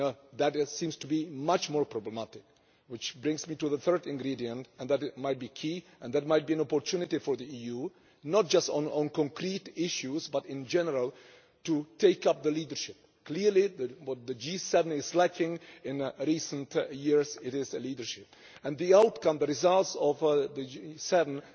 That seems to be much more problematic, which brings me to the third ingredient, namely that it might be key and that might be an opportunity for the EU, not just on concrete issues, but in general to take up leadership. Clearly what the G7 is lacking in recent years is leadership, and the outcome of the G 7